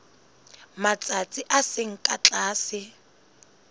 matsatsi a seng ka tlase